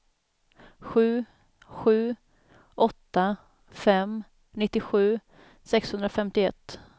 sju sju åtta fem nittiosju sexhundrafemtioett